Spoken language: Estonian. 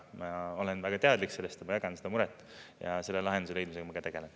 Ma olen väga teadlik sellest, ma jagan seda muret, ja selle lahenduse leidmisega ma ka tegelen.